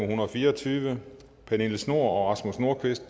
hundrede og fire og tyve pernille schnoor og rasmus nordqvist